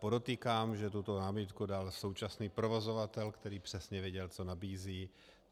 Podotýkám, že tuto námitku dal současný provozovatel, který přesně věděl, co nabízí.